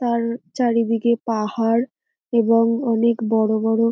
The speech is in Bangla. তার চারিদিকে পাহাড় এবং অনেক বড় বড়--